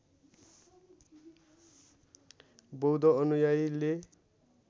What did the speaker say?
बौद्ध अनुयायीले